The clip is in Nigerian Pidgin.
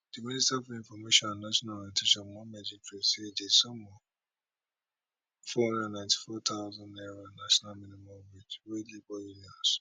di minister for information and national orientation mohammed idris say di sum of four hundred and ninety four thousand naira national minimum wage wey labour union